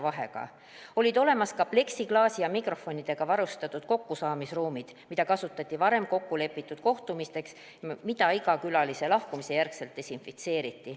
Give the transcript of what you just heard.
Olemas olid ka pleksiklaasi ja mikrofonidega varustatud kokkusaamisruumid, mida kasutati varem kokku lepitud kohtumisteks ja mida iga külalise lahkumise järel desinfitseeriti.